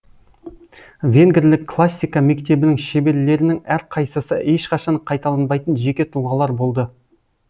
венгрлік классика мектебінің шеберлерінің әрқайсысы ешқашан қайталанбайтын жеке тұлғалар болды